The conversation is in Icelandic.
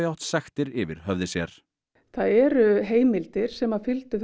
átt sektir yfir höfði sér það eru heimildir sem fylgdu